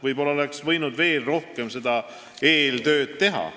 Võib-olla oleks võinud veel rohkem eeltööd teha.